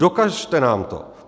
Dokažte nám to!